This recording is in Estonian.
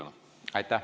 Aitäh!